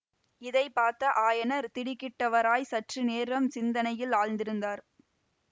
இதை பார்த்த ஆயனர் திடுக்கிட்டவராய்ச் சற்று நேரம் சிந்தனையில் ஆழ்ந்திருந்தார்